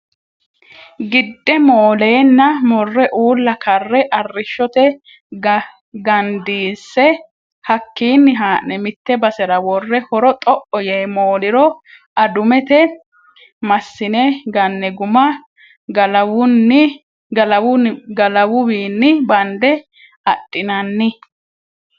Gidde moolenna mure uulla karre arrishote gandiise hakkinni ha'ne mite basera wore horo xo"o yee mooliro adumete masine gane guma galawuwinni bande adhinanni.